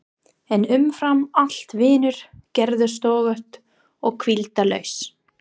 En umfram allt vinnur Gerður stöðugt og hvíldarlaust.